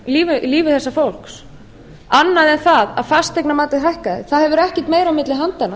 í lífi þessa fólks annað en það að fasteignamatið hækkaði það hefur ekkert meira á milli handanna